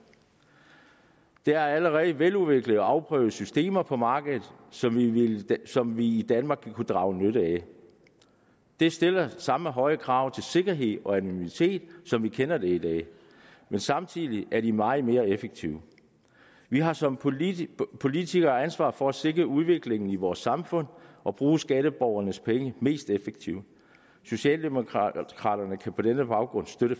der er allerede veludviklede og afprøvede systemer på markedet som som vi i danmark vil kunne drage nytte af det stiller samme høje krav til sikkerhed og anonymitet som vi kender det i dag men samtidig er de meget mere effektive vi har som politikere politikere ansvar for at sikre udviklingen i vores samfund og bruge skatteborgernes penge mest effektivt socialdemokraterne kan på denne baggrund støtte